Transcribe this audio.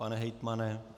Pane hejtmane?